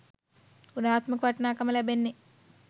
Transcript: ගුණාත්මක වටිනාකම ලැබෙන්නේ.